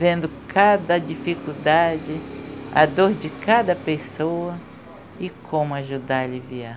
Vendo cada dificuldade, a dor de cada pessoa e como ajudar a aliviar.